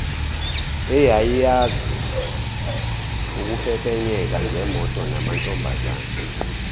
eyayiyazi ukupepenyeka ngemotonamantombazane